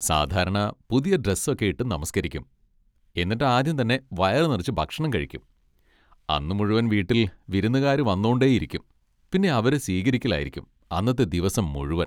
സാധാരണ പുതിയ ഡ്രെസ്സൊക്കെ ഇട്ട് നമസ്കരിക്കും, എന്നിട്ട് ആദ്യം തന്നെ വയറുനിറച്ച് ഭക്ഷണം കഴിക്കും, അന്ന് മുഴുവൻ വീട്ടിൽ വിരുന്നുകാര് വന്നോണ്ടേ ഇരിക്കും, പിന്നെ അവരെ സ്വീകരിക്കലായിരിക്കും അന്നത്തെ ദിവസം മുഴുവൻ.